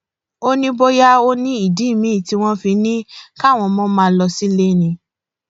ó ní bóyá ó ní ìdí miín tí wọn fi ní káwọn ọmọ máa lọ sílé ni